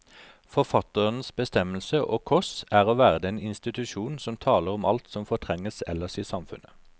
Forfatterens bestemmelse, og kors, er å være den institusjon som taler om alt som fortrenges ellers i samfunnet.